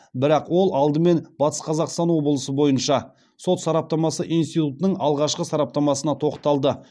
бірақ ол алдымен батыс қазақстан бойынша сот сараптамасы институтының алғашқы сараптамасына тоқталды